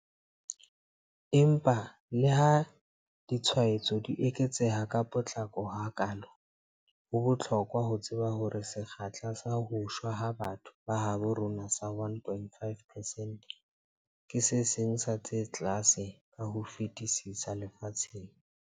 Empa leha ditshwaetso di eketseha ka potlako hakaalo, ho bohlokwa ho tseba hore sekgahla sa ho shwa ha batho ba habo rona sa 1.5 percent ke se seng sa tse tlase ka ho fetisisa lefatsheng.